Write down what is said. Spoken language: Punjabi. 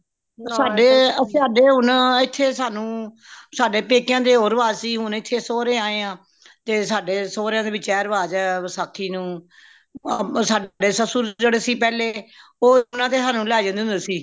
ਸਾਡੇ ਸਾਡੇ ਹੋਣ ਏਥੇ ਸਾਨੂ ਸਾਡੇ ਪੇਕਯਾ ਦੇ ਹੋਰ ਰਿਵਾਜ਼ ਸੀ ਹੋਣ ਏਥੇ ਸੋਰੇ ਆਏ ਹਾਂ ਤੇ ਸਾਡੇ ਸੋਰਯਾ ਵਿੱਚ ਏਹ ਰਿਵਾਜ਼ ਹੈ ਵਸਾਖ਼ੀ ਨੂੰ ਸਾਡੇ ਸਸੂਰ ਜੇੜੇ ਸੀ ਪਹਿਲੇ ਉਹ ਸਾਨੂ ਲੈਹ ਜਾਂਦੇ ਹੋਂਦੇ ਸੀ